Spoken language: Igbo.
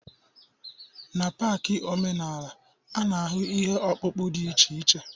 N'pak omenala, a na-ahụ ihe ọkpụkpụ dị iche iche